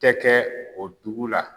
Tɛ kɛ o dugu la